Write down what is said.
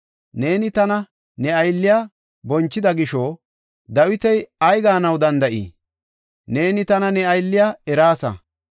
Neeni tana ne aylliya bonchida gisho, Dawiti ay gaanaw danda7ii? Neeni tana ne aylliya eraasa.